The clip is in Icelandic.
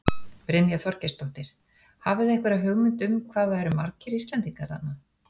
Brynja Þorgeirsdóttir: Hafið þið einhverja hugmynd um hvað það eru margir Íslendingar þarna?